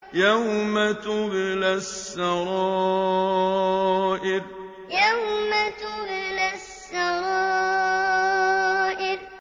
يَوْمَ تُبْلَى السَّرَائِرُ يَوْمَ تُبْلَى السَّرَائِرُ